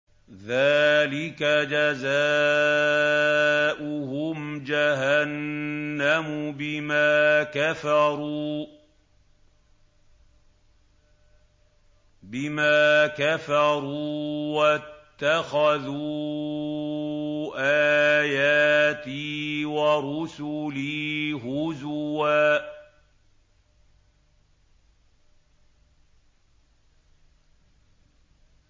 ذَٰلِكَ جَزَاؤُهُمْ جَهَنَّمُ بِمَا كَفَرُوا وَاتَّخَذُوا آيَاتِي وَرُسُلِي هُزُوًا